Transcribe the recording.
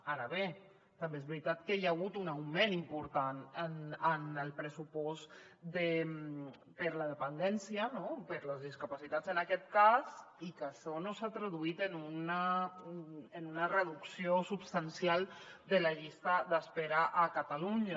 ara bé també és veritat que hi ha hagut un augment important en el pressupost per a la dependència per a les discapacitats en aquest cas i que això no s’ha traduït en una reducció substancial de la llista d’espera a catalunya